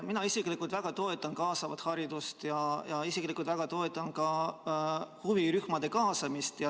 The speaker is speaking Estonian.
Mina isiklikult väga toetan kaasavat haridust ja väga toetan ka huvirühmade kaasamist.